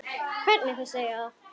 Hvernig þau segja það.